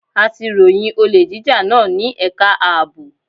A ti ròyìn olè jíjà náà ní ẹ̀ka ààbò.